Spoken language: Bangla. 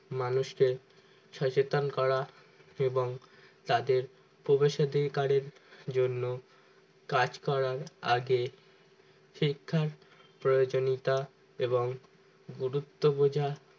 মানুষ কে সচেতন করা এবং তাদের প্রবেসাধি কারের জন্য কাজ করার আগে শিক্ষার প্রয়োজনীয়তা এবং গুরুত্ব বোঝা